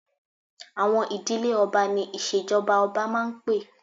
Àwọn ìdílé ọba ni ìṣèjọba ọba máa ń pé